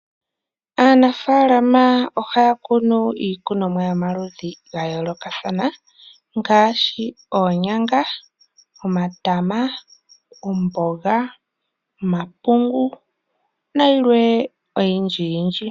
Aanafaalama ohaya kunu iikunomwa yomaludhi ga yoolokathana ngaashi oonyanga, omatama , omboga, omapungu nayilwe oyindji yindji.